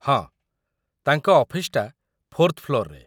ହଁ, ତାଙ୍କ ଅଫିସ୍‌ଟା ଫୋର୍ଥ୍ ଫ୍ଲୋର୍‌ରେ ।